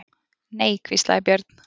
Nei, hvíslaði Björn.